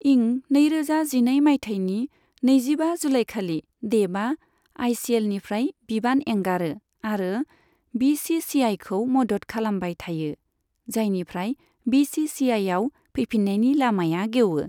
इं नैरोजा जिनै माइथायनि नैजिबा जुलाईखालि देबआ आईसीएलनिफ्राय बिबान एंगारो आरो बीसीसीआईखौ मदद खालामबाय थायो, जायनिफ्राय बीसीसीआईआव फैफिननायनि लामाया गेवो।